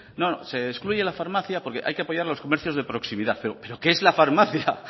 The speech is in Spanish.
se excluye la farmacia porque hay que apoyar los comercios de proximidad pero pero qué es la farmacia